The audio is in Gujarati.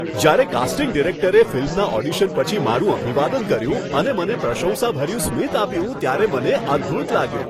જ્યારે કાસ્ટિંગ ડિરેક્ટરે ફિલ્મના ઓડિશન પછી મારું અભિવાદન કર્યું અને મને પ્રશંસાભર્યું સ્મિત આપ્યું ત્યારે મને અદ્ભુત લાગ્યું.